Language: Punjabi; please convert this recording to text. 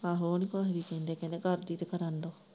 ਆਹੋ ਉਹ ਨੀ ਕੁੱਝ ਵੀ ਕਹਿੰਦੇ, ਕਹਿੰਦੇ ਤਾਂ ਕਰਨ ਦੋ।